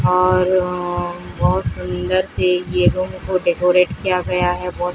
और अह बहोत सुंदर सी ये रूम को डेकोरेट किया गया है बहोत--